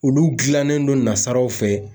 Olu gilannen don nasaraw fɛ.